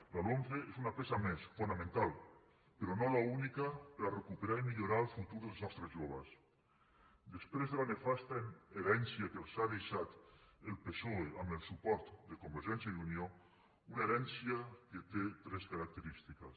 la lomce és una peça més fonamental però no l’única per a recuperar i millorar el futur dels nostres joves després de la nefasta herència que els ha deixat el psoe amb el suport de convergència i unió una herència que té tres característiques